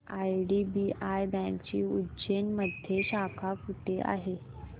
IDBI बँकेची उज्जैन मध्ये शाखा कुठे आहे